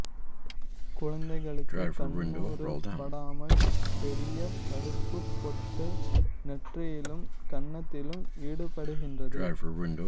குழந்தைகளுக்கு கண்ணூறு படாமல் பெரிய் கருப்புப் பொட்டு நெற்றியிலும் கன்னத்திலும் இடப்படுகின்றது